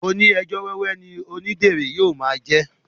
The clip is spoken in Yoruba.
Oní ẹjọ́ wẹ́wẹ́ ni odíderé yóò mo jẹ